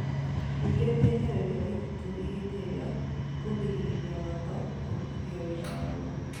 Ningĩ ndĩehereirie Waititu ihĩtia rĩa kũgirĩrĩria watho kũrutithio wĩra waguo.